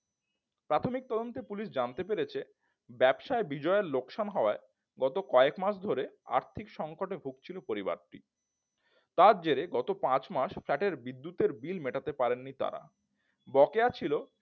প্রাথমিক তদন্তে পুলিশ জানতে পেরেছে ব্যবসায় বিজয়ের লোকসান হওয়ায় গত কয়েক মাস ধরে আর্থিক সংকটে ভুগছিল পরিবার তার জেরে গত পাঁচ মাস flat এর বিদ্যুৎ বিল মেটাতে পারেনি তারা। বকেয়া ছিল